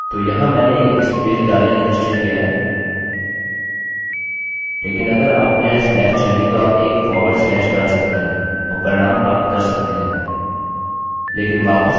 तो यहाँ मैंने एक स्पेस डालने का निश्चय किया हैलेकिन अगर आपको यहाँ स्लैश चाहिए तो आप एक फॉरवर्ड स्लैश डाल सकते हैं और परिणाम प्राप्त कर सकते हैं